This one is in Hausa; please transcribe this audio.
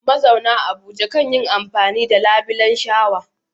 Mazauna Abuja kan yi amfani da labulen shawa.